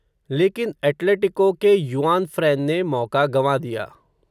लेकिन एटलेटिको के युआनफ़्रैन ने मौक़ा गँवा दिया.